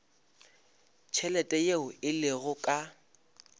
tšhelete yeo e lego ka